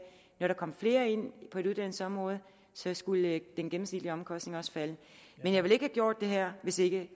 når der kom flere ind på et uddannelsesområde skulle den gennemsnitlige omkostning også falde men jeg ville ikke have gjort det her hvis ikke